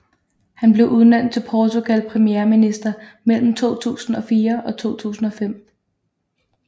Han blev udnævnt til Portugal premierminister mellem 2004 og 2005